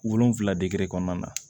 Wolonvila dege kɔnɔna na